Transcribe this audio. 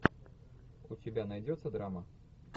у тебя найдется драма